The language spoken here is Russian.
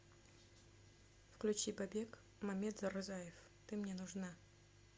включи бабек мамедрзаев ты мне нужна